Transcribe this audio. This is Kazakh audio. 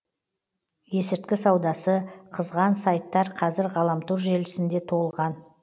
есірткі саудасы қызған сайттар қазір ғаламтор желісінде толған